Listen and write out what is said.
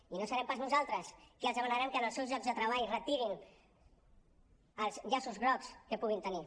i no serem pas nosaltres qui els demanarem que en els seus llocs de treball retirin els llaços grocs que puguin tenir